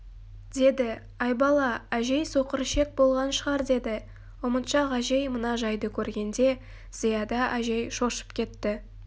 деді айбала әжей соқырішек болған шығар деді ұмытшақ әжей мына жайды көргенде зияда әжей шошып кетті